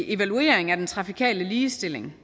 evaluering af den trafikale ligestilling